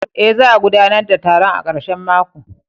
Eh, za a gudanar da taron a karshen mako.